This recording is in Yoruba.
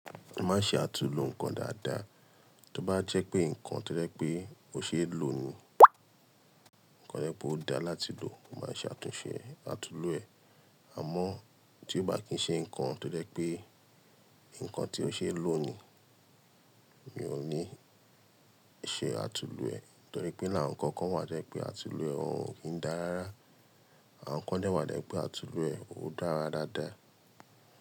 Mo máa ń ṣe àtulò nǹkan dáadáa. Tí ó bá jẹ́ pé nǹkan tó jẹ́ pé ò ṣe é lò ni, ko jẹ́ pé ó da láti lò, mo máa ṣe àtúnṣe àtulò ẹ̀. À mọ́ tí ó bá kí ń ṣe nǹkan tó jẹ́ pé nǹkan tí ó ṣe é lò ni, mi ò ní ṣe àtulò ẹ̀. Nítorí pé ninu àwọn nǹkan kan wà to jẹ́ pé àtulò ẹ̀ ò kín dára rárá, àwọn nǹkan de wà pé àtulò ẹ̀ ó dára dáadáa.